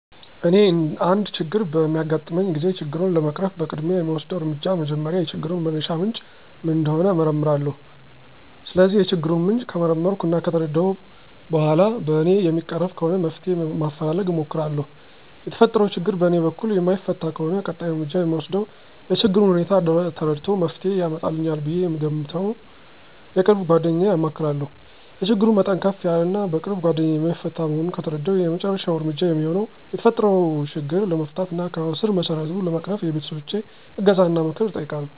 እኔ አንድ ችግር በሚያጋጥመኝ ጊዜ ችግሩን ለመቅረፍ በቅድሚያ የምወስደው እርምጃ መጀመሪያ የችግሩን መነሻ ምንጭ ምን እንደሆነ እመረምራለሁ። ስለዚህ የችግሩን ምንጭ ከመረመርሁ እና ከተረዳሁ በኋላ በእኔ የሚቀረፍ ከሆነ መፍትሄ ማፈላለግ እሞክራለሁ። የተፈጠረው ችግር በእኔ በኩል የማይፈታ ከሆነ ቀጣይ እርምጃ የምወስደው የችግሩን ሁኔታ ተረድቶ መፍትሄ ያመጣልኛል ብዬ የምገምተውን የቅርብ ጓደኛዬን አማክራለሁ። የችግሩ መጠን ከፍ ያለ እና በቅርብ ጓደኛዬ የማይፈታ መሆኑን ከተረዳሁ የመጨረሻው እርምጃ የሚሆነው የተፈጠረው ችግር ለመፍታት እና ከስረመሰረቱ ለመቅረፍ የቤተሰቦቸን እገዛና ምክር እጠይቃለሁ።